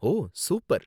ஓ, super